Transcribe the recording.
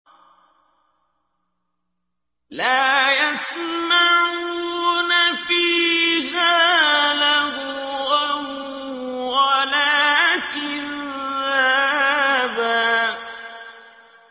لَّا يَسْمَعُونَ فِيهَا لَغْوًا وَلَا كِذَّابًا